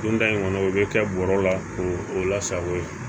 Don da in kɔnɔ i bɛ kɛ bɔrɛ la k'o la sago ye